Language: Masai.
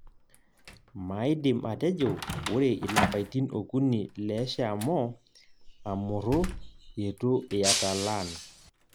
Maidim atejo ore ilapaitin okuni leshaomo amurru itu iatalaan.